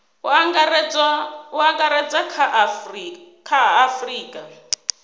u angaredza kha a afurika